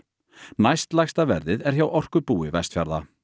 næstlægsta verðið er hjá Orkubúi Vestfjarða